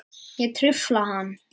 Ég trufla hann.